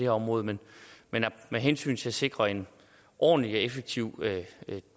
område men med hensyn til at sikre en ordentlig og effektiv